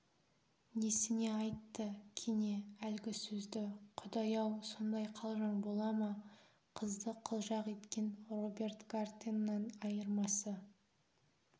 несіне айтты кене әлгі сөзді құдай-ау сондай қалжың бола ма қызды қылжақ еткен роберт гартеннан айырмасы